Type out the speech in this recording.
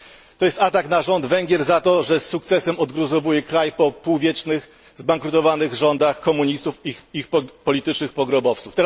To jest atak na rząd Węgier za to, że z sukcesem odgruzowuje kraj po półwieczu zbankrutowanych rządów komunistów i ich politycznych pogrobowców.